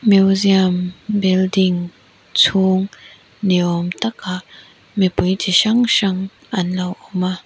museum building chhung ni awm takah mipui chi hrang hrang anlo awm a.